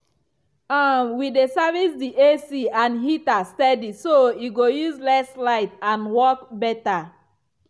um we dey service the ac and heater steady so e go use less light and work better.